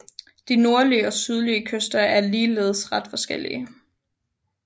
De nordlige og sydlige kyster er ligeledes ret forskellige